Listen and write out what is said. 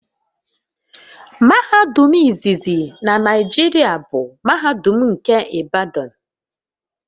Mahadum izizi na Naijiria bụ mahadum nke Ibadan